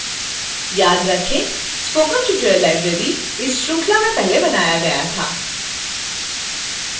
याद रखें: spoken tutorial library इस श्रृंखला में पहले बनाया गया था